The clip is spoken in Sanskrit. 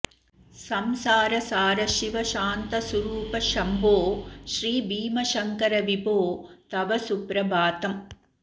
संसारसार शिव शान्त सुरूप शम्भो श्रीभीमशङ्करविभो तव सुप्रभातम्